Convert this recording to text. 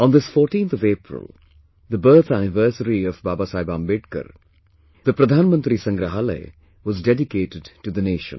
On this 14th April, the birth anniversary of Babasaheb Ambedkar, the Pradhanmantri Sangrahalaya was dedicated to the nation